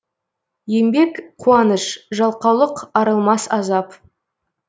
еңбек қуаныш жалқаулық арылмас азап